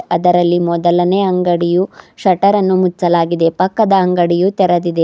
ಅದರಲ್ಲಿ ಮೊದಲನೆ ಅಂಗಡಿಯು ಶೆಟರ ನ್ನು ಮುಚ್ಚಲಾಗಿದೆ ಪಕ್ಕದ ಅಂಗಡಿಯು ತೆರೆದಿದೆ.